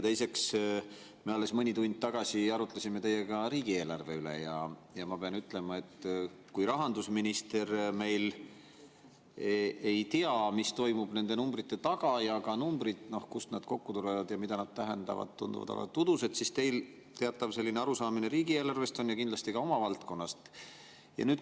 Teiseks, me alles mõni tund tagasi arutasime teiega riigieelarve üle, ja ma pean ütlema, et kui rahandusminister meil ei tea, mis toimub nende numbrite taga, ega tea seda, kust need numbrid kokku tulevad ja mida nad tähendavad, need tunduvad alati udused, siis teil teatav arusaamine riigieelarvest on ja kindlasti on ka oma valdkonnast.